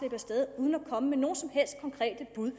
og med nogen som helst konkrete bud